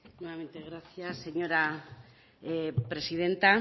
gracias señora presidenta